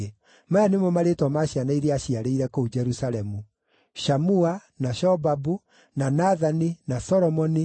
Maya nĩmo marĩĩtwa ma ciana iria aaciarĩire kũu Jerusalemu: Shamua, na Shobabu, na Nathani, na Solomoni,